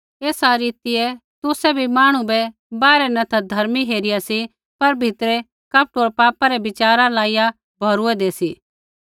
एसा रीतियै तुसै भी मांहणु बै बाहरै न ता धर्मी हेरिया सी पर भीतरै कपट होर पापा रै बिचारा लाइया भौरूऐदै सी